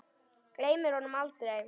Gleymir honum aldrei.